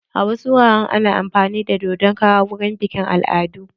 A wasu wuraren ana amfani da dodon kara wurin biƙin al'adu.